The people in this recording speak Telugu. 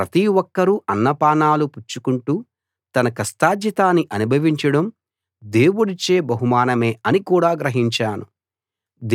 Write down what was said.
ప్రతి ఒక్కరూ అన్నపానాలు పుచ్చుకుంటూ తన కష్టార్జితాన్ని అనుభవించడం దేవుడిచ్చే బహుమానమే అని కూడా గ్రహించాను